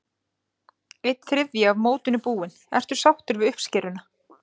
Einn þriðji af mótinu búinn, ertu sáttur við uppskeruna?